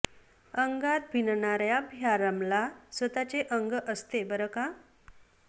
अंगात भिनणार्याब ह्या रमला स्वतःचे अंग असते बरं का